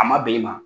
A ma bɛn i ma